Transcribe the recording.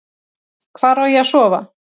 Hvar á ég að sofa?